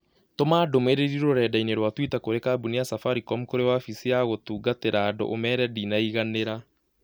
Tũma ndũmĩrĩri rũrenda-inī rũa tũita kũrĩ kambuni ya safaricom kũrĩ wabichi ya gũtungatĩra andũ ũmeere ndĩnaiganĩra